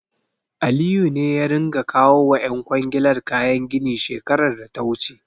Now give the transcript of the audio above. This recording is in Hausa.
Aliyu ne ya ringa kawo wa ƴan kwangilar kayan gini shekarar da ta wuce.